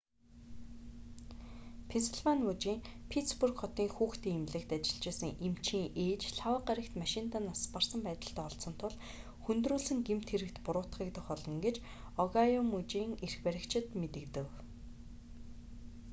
пенсильвани мужийн питтсбург хотын хүүхдийн эмнэлэгт ажиллаж байсан эмчийн ээж лхагва гарагт машиндаа нас барсан байдалтай олдсон тул хүндрүүлсэн гэмт хэрэгт буруутгагдах болно гэж огайо мужийн эрх баригчид мэдэгдэв